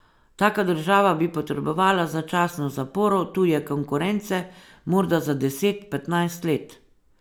Taka država bi potrebovala začasno zaporo tuje konkurence, morda za deset, petnajst let.